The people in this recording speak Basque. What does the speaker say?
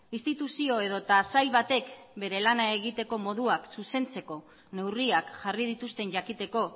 instituzio edota sail batek bere lana egiteko moduak zuzentzeko neurriak jarri dituzten jakiteko